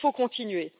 il faut continuer.